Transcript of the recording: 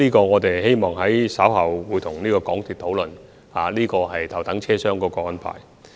我們稍後會與港鐵公司討論頭等車廂的安排。